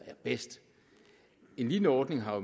er bedst en lignende ordning har